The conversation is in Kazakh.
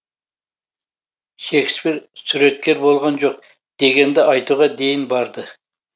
шекспир суреткер болған жоқ дегенді айтуға дейін барды